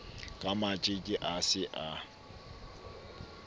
ka matjeke a se a